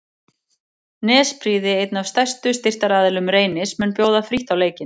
Nesprýði einn af stærstu styrktaraðilum Reynis mun bjóða frítt á leikinn.